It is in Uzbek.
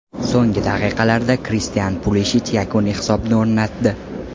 So‘nggi daqiqalarda Kristian Pulishich yakuniy hisobni o‘rnatdi.